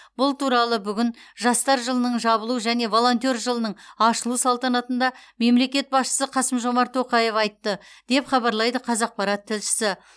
бұл туралы бүгін жастар жылының жабылу және волонтер жылының ашылу салтанатында мемлекет басшысы қасым жомарт тоқаев айтты деп хабарлайды қазақпарат тілшісі